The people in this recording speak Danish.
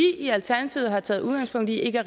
i alternativet har taget udgangspunkt i ikke